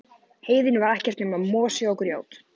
Heiðin var ekkert nema mosi og grjót.